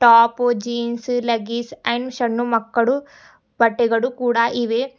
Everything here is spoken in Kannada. ಟಾಪು ಜೀನ್ಸು ಲೆಗ್ಗಿಸ್ ಅಂಡ್ ಸಣ್ಣು ಮಕ್ಕಳು ಬಟ್ಟೆಗಳು ಕೂಡ ಇವೆ.